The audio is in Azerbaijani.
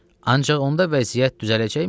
Ancaq onda vəziyyət düzələcəkmi?